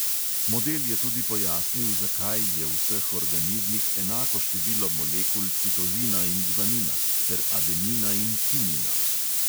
Model je tudi pojasnil, zakaj je v vseh organizmih enako število molekul citozina in gvanina ter adenina in timina.